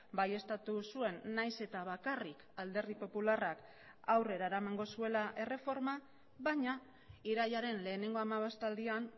baieztatu zuen nahiz eta bakarrik alderdi popularrak aurrera eramango zuela erreforma baina irailaren lehenengo hamabostaldian